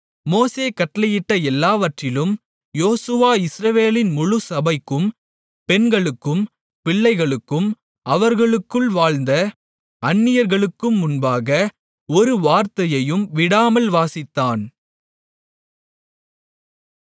மோசே கட்டளையிட்ட எல்லாவற்றிலும் யோசுவா இஸ்ரவேலின் முழுச்சபைக்கும் பெண்களுக்கும் பிள்ளைகளுக்கும் அவர்களுக்குள் வாழ்ந்த அந்நியர்களுக்கும் முன்பாக ஒரு வார்த்தையையும் விடாமல் வாசித்தான்